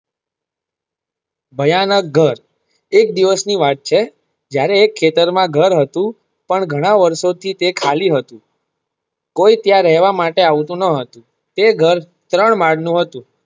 ભયાનક ઘર એક દિવસ ની વાત છે જયારે એક ખેતર માં ઘર હતું પણ ઘણા વર્ષો થી તે ખાલી હતું કોઈ ત્યાં રહેવા માટે આવતું ન હતું તે ઘર ત્રણ માળ નું હતું.